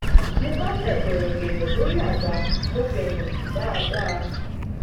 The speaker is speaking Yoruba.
mo bá fẹ̀ pẹ̀rẹ̀gẹ̀dẹ̀ sórí àga mo fẹyìn tì dáadáa